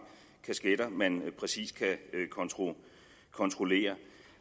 kasketter man præcis kan kontrollere